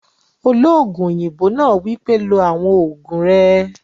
Olóògùn òyìnbó náà wípé, "lo àwọn ògùn rẹ!"